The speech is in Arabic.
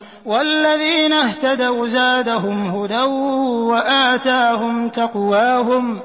وَالَّذِينَ اهْتَدَوْا زَادَهُمْ هُدًى وَآتَاهُمْ تَقْوَاهُمْ